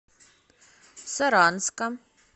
саранска